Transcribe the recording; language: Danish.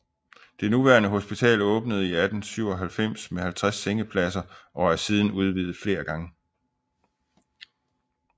Det nuværende hospital åbnede i 1897 med 50 sengepladser og er siden udvidet flere gange